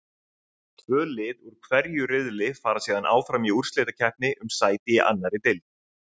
Tvö lið úr hverju riðli fara síðan áfram í úrslitakeppni um sæti í annarri deild.